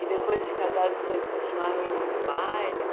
E depois de casado, vocês continuaram indo nos bailes?